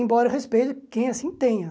Embora eu respeite quem assim tenha.